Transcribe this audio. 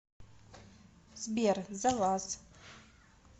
сбер за вас